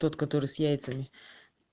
тот который с яйцами